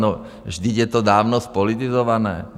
No vždyť je to dávno zpolitizované.